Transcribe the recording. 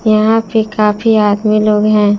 यहां पे काफी आदमी लोग हैं।